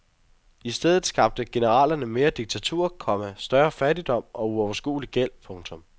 I stedet skabte generalerne mere diktatur, komma større fattigdom og uoverskuelig gæld. punktum